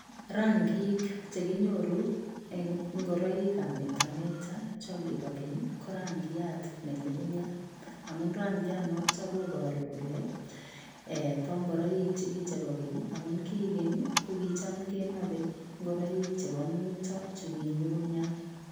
Rangiik che konyoruu en ingoraik ab meta meta chaang kibokeeny ii ko rangiat ne ngungunyaat amun rangiat notoon kobaruu kole eeh bo ingoraik chukichei bo keeny ii amuun ko kuchaam kenapei ingoraik chebo muitaa che ki nyugunyaat.